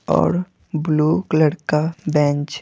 और blue colour का bench --